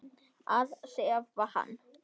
Að sefa hann.